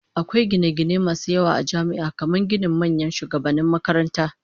Akwai gine-gine masu yawa a jami'a, kamar ginin manyan shugabannin makaranta.